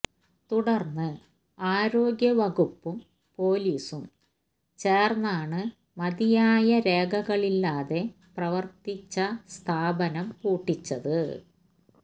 തുടര്ന്ന് ആരോഗ്യവകുപ്പും പോലീസും ചേര്ന്നാണ് മതിയായ രേഖകളില്ലാതെ പ്രവര്ത്തിച്ച സ്ഥാപനം പൂട്ടിച്ചത്